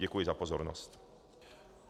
Děkuji za pozornost.